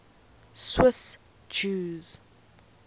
swiss jews